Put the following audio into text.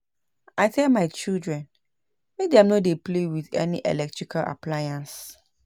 I tell my children make dem no dey play with any electrical appliance